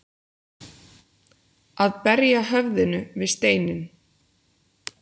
Að berja höfðinu við steininn